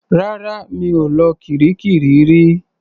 Rárá. Mi ò lọ kiríkirì rí.